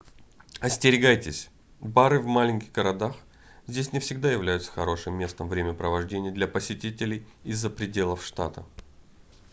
остерегайтесь бары в маленьких городах здесь не всегда являются хорошим местом времяпрепровождения для посетителей из-за пределов штата